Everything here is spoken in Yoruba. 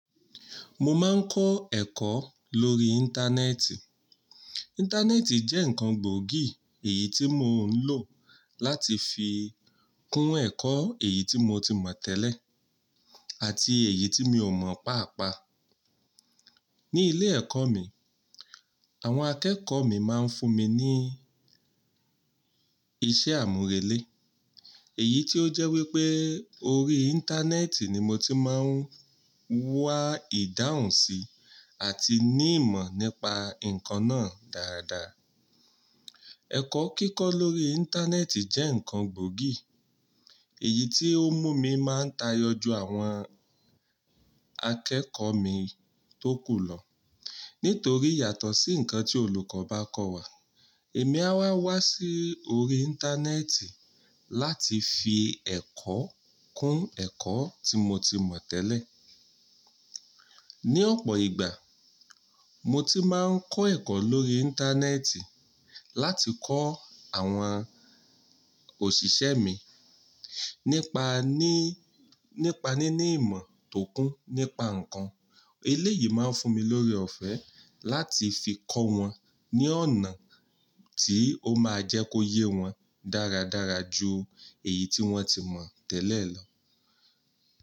Mo máa ń kọ́ ẹ̀kọ́ lórí Íńtánẹ́ẹ̀tì. Íńtánẹ́ẹ̀tì jẹ́ nǹkan gbòógì èyí tí mo ń lò láti fi kún ẹ̀kọ́ èyí tí mo ti mọ̀ tẹ́lẹ̀ àti èyí tí mi ò mọ̀ paapaa. Ni ilé ẹ̀kọ́ mi, àwọn akẹ́kọ̀ọ́ mi máa ń fún mi ní iṣẹ́ àmúrelé, èyí tó jẹ́ wípé orí Íńtánẹ́ẹ̀tì ni mo ti máa ń wá ìdáhùn sí àti ní ìmọ̀ nípa nǹkan náà dáradára. Ẹ̀kọ́ kíkọ́ lórí Íńtánẹ́ẹ̀tì jẹ́ nǹkan gbòógì, èyí tí ó mú mi máa ń tayọ ju àwọn akẹ́kọ̀ọ́ mi tó kù lọ. Nítorí yàtọ̀ sí ǹkan tí olùkọ́ bá kọ́ wa, èmi a wá wá sí orí Íńtánẹ́ẹ̀tì láti fi ẹ̀kọ́ kún ẹ̀kọ́ tí mo ti mọ̀ tẹ́lẹ̀. Ni ọ̀pọ̀ ìgbà, mo ti máa ń kọ́ ẹ̀kọ́ lórí Íńtánẹ́ẹ̀tì láti kọ́ àwọn òṣìṣẹ́ mi nipa nípa níní ìmọ̀ tókún nípa nǹkan. Eléyìí máa ń fún mi lórí ọ̀fẹ́ láti fi kọ́ wọn ní ọ̀nà tí ó máa jẹ́ kó yé wọn dáradára ju èyí tí wọ́n ti mọ̀ tẹ́lẹ̀ lọ.